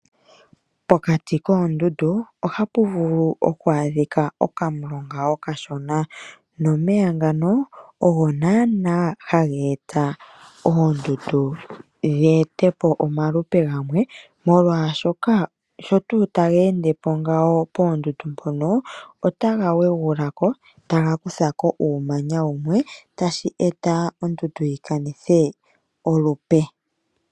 Pokati koondundu ohapu vulu oku adhika okamulonga okashona, nomeya ngano ogo naanaa hageeta oondundu dheetepo omalupe gamwe molwaashoka sho tuu tageendepo poondundu mpono otaga wegulako, taga kuthako uumanya wumwe tashi eta ondundu yikanithe olupe.